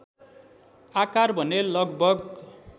आकार भने लगभग